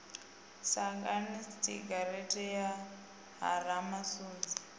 sagani giratshini ya ha ramasunzi